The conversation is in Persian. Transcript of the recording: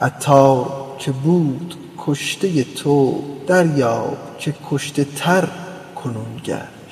عطار که بود کشته تو دریاب که کشته تر کنون گشت